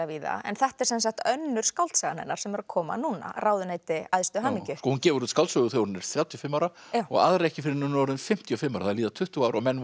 víða en þetta er sem sagt önnur skáldsagan hennar sem er að koma núna ráðuneyti æðstu hamingju hún gefur út skáldsögu þegar hún er þrjátíu og fimm ára og aðra ekki fyrr en hún er fimmtíu og fimm ára það líða tuttugu ár og menn